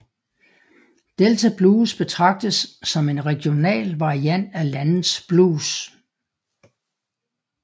Delta blues betragtes som en regional variant af landets blues